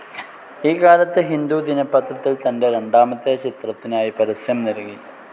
ഈ കാലത്ത് ഹിന്ദു ദിനപത്രത്തിൽ തന്റെ രണ്ടാമത്തെ ചിത്രത്തിനായി പരസ്യം നൽകി.